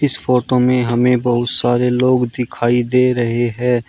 इस फोटो में हमें बहुत सारे लोग दिखाई दे रहे हैं।